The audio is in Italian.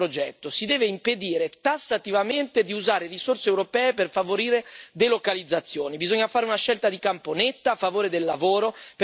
L'Europa deve riportare i diritti sociali al cuore del suo progetto, si deve impedire tassativamente di usare risorse europee per favorire le delocalizzazioni.